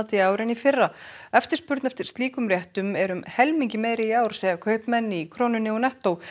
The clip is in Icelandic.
í ár en í fyrra eftirspurn eftir slíkum réttum er um helmingi meiri í ár segja kaupmenn í Krónunni og nettó